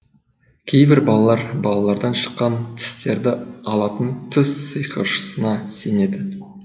кейбір балалар балалардан шыққан тістерді алатын тіс сиқыршысына сенеді